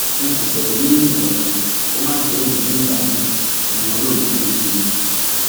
n kò fẹẹ wí nǹkan kan kó má jẹ èyí tí ǹ bá wí ni wọn yóò máa gbé kiri